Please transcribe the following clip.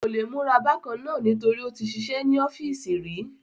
Kò le múra bákan nítorí ó tí sisẹ́ ní ọ́fìsì rí